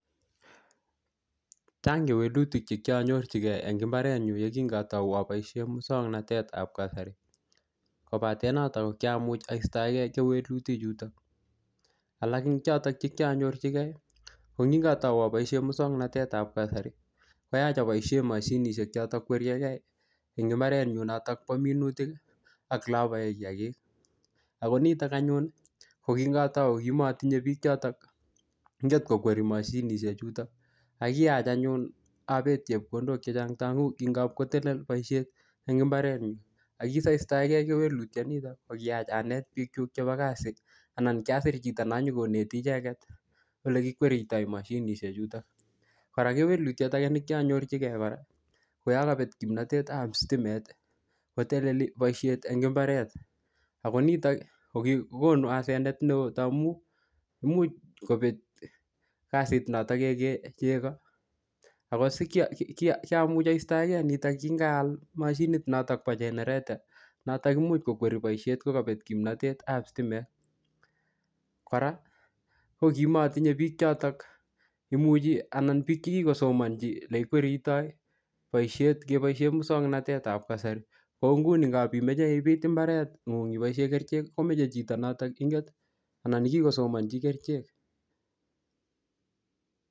Chang kewelutik che kianyorchikei eng mbaret nyu yekingatau aboisie muswagnatetab kasari. Kobate notok, ko kiamuch aistoege kewelutik chutok. Alak eng chotok che kianyorchikei, ko ngikatau aboisie muswaganatetab kasari, koyach aboisie mashinishek chotok kweriekey eng mbaret nyu notok bo minutik, ak ole abae kiyagik. Ako nitok anyun, ko kingatau kimatinye biik chotok inget kokwerie mashinishek chutok. Akiyach anyun abet chepkondok chechang taamu ki ngapkotelel boisiet eng mbaret nyu. Akisaistoegei kewelutiet notok, ko kiyach anet biik chuk chebo kasi, anan kiasir chito nonyikoneti icheket ole kikweritoi mashinishek chutok. Kora kewlutiet age nekianyorchikei kora, ko yakabet kimnatet ap stimet, koteleli boisiet eng mbaret. Ako nitok, koki-kokonu asenet neoo taamu imuch kobet kasit notok kekee chego. Ako sikia-ki-kiamuch aistaege nitok, kingaal mashinit notok bo jenereta, notok imuch kokwerie boisiet kokabet kimantetab sitimet. Kora, ko kimatinye biik chotok imuchi anan biik chekikosomanchi ole kikweritoi boisiet keboisie muswaganatetab kasari. Kou nguni, ngapimeche ibit mbaret ngung ibosie kerichek, komeche chito notok inget, anan ne kikosomanchi kerichek